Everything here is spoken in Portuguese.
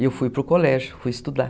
E eu fui para o colégio, fui estudar.